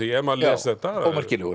ef maður les þetta ómerkilegur